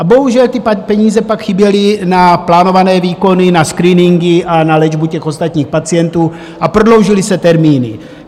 A bohužel, ty peníze pak chyběly na plánované výkony, na screeningy a na léčbu ostatních pacientů, a prodloužily se termíny.